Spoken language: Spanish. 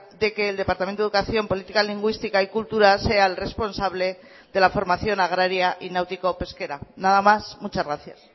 de que el departamento de educación política lingüística y cultura sea el responsable de la formación agraria y náutico pesquera nada más muchas gracias